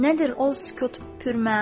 Nədir o sükut pürməna?